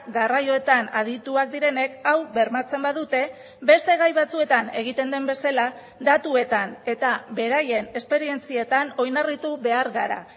garraioetan adituak direnek hau bermatzen badute beste gai batzuetan egiten den bezala datuetan eta beraien esperientzietan oinarritu behar gara